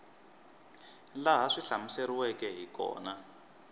laha swi hlamuseriweke hi kona